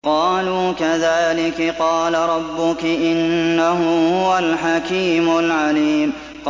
قَالُوا كَذَٰلِكِ قَالَ رَبُّكِ ۖ إِنَّهُ هُوَ الْحَكِيمُ الْعَلِيمُ